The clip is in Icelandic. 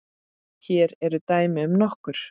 Hér eru dæmi um nokkur